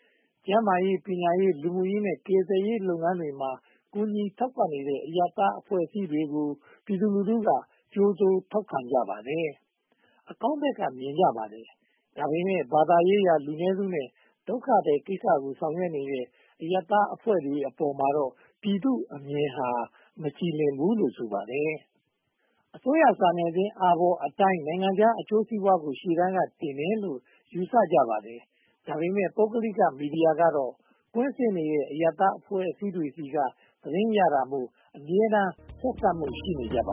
။ ကျန်မားရေး၊ ပညာရေး၊ လူမှုရေးနဲ့ ကယ်ဆယ်ရေးလုပ်ငန်းတွေမှာ ကူညီထောက်ပံ့နေတဲ့ အရပ်သားအဖွဲ့အစည်းတွေကို ပြည်သူလူထုက ထောက်ခံကြိုဆိုကြပါတယ်။ အကောင်းဘက်က မြင်ကြပါတယ်။ ဒါပေမဲ့ ဘာသာရေးရာ လူနည်းစုနဲ့ ဒုက္ခသည်ကိစ္စကို ဆောင်ရွက်နေတဲ့ အရပ်သားအဖွဲ့တွေပေါ်မှာတော့ ပြည်သူ့အမြင်ဟာ မကြည်လင်းဘူးလို့ ဆိုပါတယ်။ အစိုးရစာနယ်ဇင်း အာဘော်အတိုင်း နိုင်ငံခြားအကျိုးစီးပွားကို ရှေ့တန်းတင်တယ်လို့ ယူဆကြပါတယ်။ ဒါပေမဲ့ ပုဂ္ဂလိက မီဒီယာများကတော့ ကွင်းဆင်းနေတဲ့ အရပ်သားအဖွဲ့အစည်းတွေဆီက သတင်းယူရတာမို့ အမြဲတမ်း ဆက်စပ်မှု ရှိနေပါ